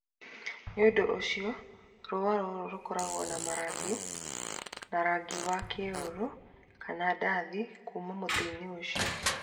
Nĩ ũndũ ũcio, rũũa rũu rũkoragwo na marangi ma rangi wa rangi wa kĩruru kana wa ndathi kuuma mũtĩ-inĩ ũcio.